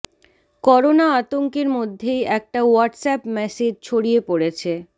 corona আতঙ্কের মধ্যেই একটা হোয়াটস অ্যাপ ম্যাসেজ ছড়িয়ে পড়েছে